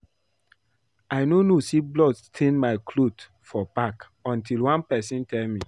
I no know say blood stain my cloth for back until one person tell me